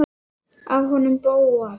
Af honum Bóasi?